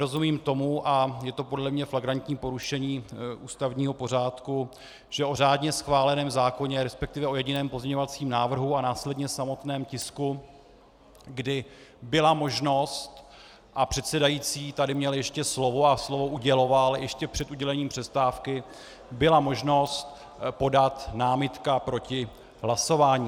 Nerozumím tomu, a je to podle mě flagrantní porušení ústavního pořádku, že o řádně schváleném zákoně, respektive o jediném pozměňovacím návrhu a následně samotném tisku, kdy byla možnost, a předsedající tady měl ještě slovo a slovo uděloval, ještě před udělením přestávky, byla možnost podat námitku proti hlasování.